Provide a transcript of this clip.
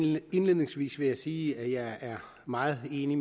indledningsvis vil jeg sige at jeg er meget enig i